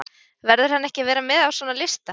Verður hann ekki að vera með á svona lista?